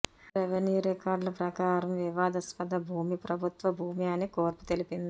revenue రికార్డుల ప్రకారం వివాదాస్పద భూమి ప్రభుత్వ భూమి అని కోర్పు తెలిపింది